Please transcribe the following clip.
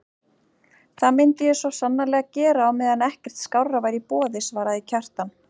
Það myndi ég sannarlega gera á meðan ekkert skárra væri í boði, svaraði Kjartan.